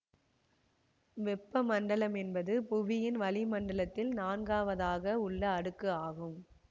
வெப்ப மண்டலம் என்பது புவியின் வளிமண்டலத்தில் நான்காவதாக உள்ள அடுக்கு ஆகும்